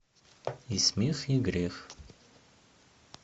и смех и грех